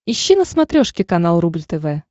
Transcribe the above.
ищи на смотрешке канал рубль тв